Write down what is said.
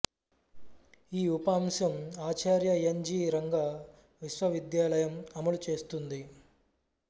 ఈ ఉప అంశం ఆచార్య ఎన్ జి రంగా విశ్వ విద్యాలయం అమలు చేస్తుంది